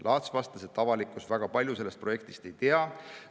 Laats vastas, et avalikkus väga palju sellest projektist ei tea.